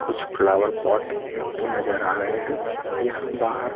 कुछ flower pot एक दो नजर आ रहे हैं यहाँ बाहर--